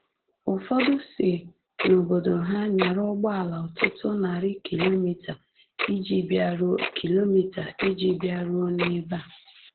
Ụfọdụ si n’obodo ha nyara ụgbọala ọtụtụ narị kilomita iji bịaruo kilomita iji bịaruo n’ebe a.